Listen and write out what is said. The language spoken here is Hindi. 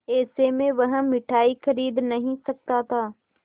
ऐसे में वह मिठाई खरीद नहीं सकता था